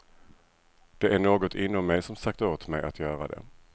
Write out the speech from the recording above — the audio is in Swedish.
Det är något inom mig som sagt åt mig att göra det.